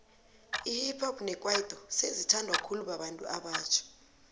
ihip hop nekwaito sezi thandwa khulu babantu abatjha